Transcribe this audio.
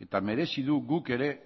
eta merezi du guk ere